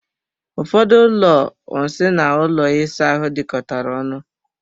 Ụfọdụ ụlọ nsị na ụlọ ịsa ahụ dikọtara ọnu.